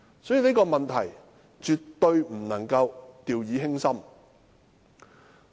所以，這方面絕不能掉以輕心。